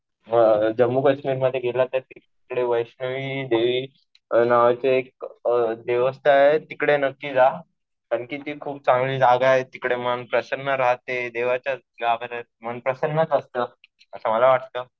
जम्मू काश्मीर मध्ये गेला तर तिकडे वैष्णवी देवी नावाचं एक देवस्थळ आहे. तिकडे नक्की जा. कारण कि ती खूप चांगली जागा आहे. तिकडे मन प्रसन्न राहते. देवाच्या गाभाऱ्यात मन प्रसन्नच असतं, असं मला वाटतं.